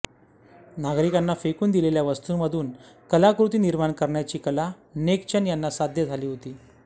नागरिकांनी फेकून दिलेल्या वस्तूंमधून कलाकृती निर्माण करण्याची कला नेक चंद यांना साध्य झाली होती